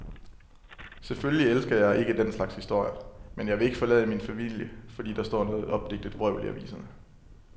Selvfølgelig elsker jeg ikke den slags historier, men jeg vil ikke forlade min familie, fordi der står noget opdigtet vrøvl i aviserne.